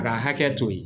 A ka hakɛ to yen